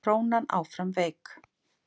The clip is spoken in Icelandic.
Krónan áfram veik